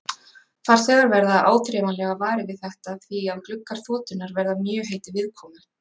Farþegar verða áþreifanlega varir við þetta því að gluggar þotunnar verða mjög heitir viðkomu.